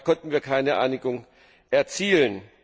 Da konnten wir keine Einigung erzielen.